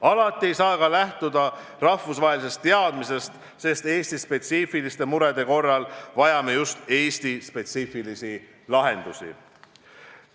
Alati ei saa ka lähtuda rahvusvahelisest teadmisest, sest Eesti-spetsiifiliste murede korral vajame just Eesti-spetsiifilisi lahendusi.